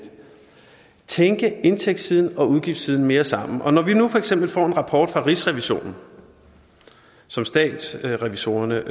tænke indtægtssiden og udgiftssiden mere sammen når vi nu for eksempel får en rapport fra rigsrevisionen som statsrevisorerne